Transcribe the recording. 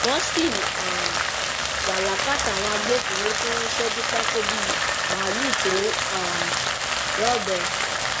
wọn sì um wà lákàtà àwọn agbófinró tí wọn ń ṣẹjú pákó bíi malùú tó um rọbẹ